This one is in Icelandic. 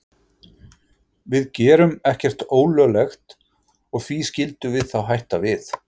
Við gerum ekkert ólöglegt og því skildum við þá hætta við?